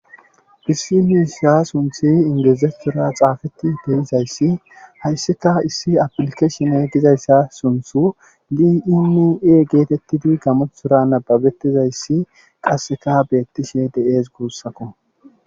Issi miishsha sunththi ingilizathora xaafetidi de'izayssa haysikka isi afilikeshne gizayssa gin i e getetidi gamothora nababetizayssi qassikka beetishe de'ees. guussakko.